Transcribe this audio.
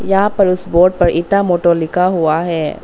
यहां पर उस बोर्ड पर इटामोटो लिखा हुआ है।